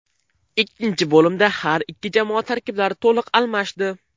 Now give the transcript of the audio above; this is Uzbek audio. Ikkinchi bo‘limda har ikki jamoa tarkiblari to‘liq almashdi.